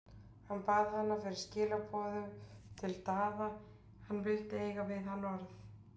Hann bað hana fyrir skilaboð til Daða, hann vildi eiga við hann orð.